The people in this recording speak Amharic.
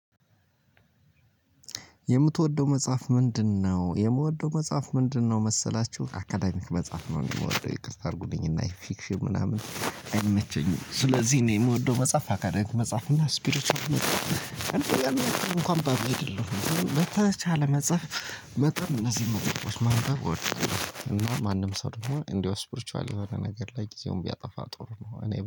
የምትወደው መጻፍ ምንድን ነው? የምወደው መጻፍ ምንድን ነው መሰላቹህ አካዳሚክ መጻፍ ነው ምወደው ይቅርታ አርጉልኝ እና ይህ ፊክሽን ምናምን አይመቸኝም። ስለዚህ እኔ ምወደው መጻፍ አካዳሚክ መጻፍ ስፒሪቿል መጻፍ። እንኳን አንባቢ አይደለሁም። መታቻ ለመጻፍ። መጠን እነዚህ መቆየቶች ማንበብ ወርደዋል እና ማንም ሰርፎ እንደው ስፖርቹዋል የሆነ ነገር ላይ ጊዜውን ቢያጠፋ ጥሩ ነው። እኔ